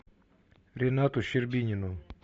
ренату щербинину